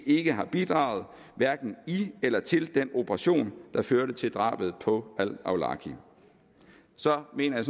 ikke har bidraget hverken i eller til den operation der førte til drabet på al awlaki så mener jeg